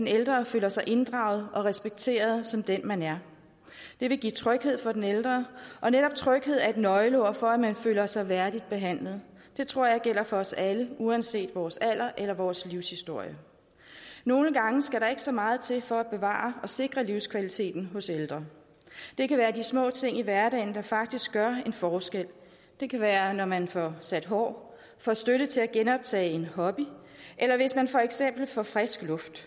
ældre føler sig inddraget og respekteret som den man er det vil give tryghed for den ældre og netop tryghed er et nøgleord for at man følger sig værdigt behandlet det tror jeg gælder for os alle uanset vores alder eller vores livshistorie nogle gange skal der ikke så meget til for at bevare og sikre livskvaliteten hos ældre det kan være de små ting i hverdagen der faktisk gør en forskel det kan være når man får sat hår får støtte til at genoptage en hobby eller hvis man for eksempel får frisk luft